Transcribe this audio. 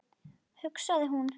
hugsaði hún.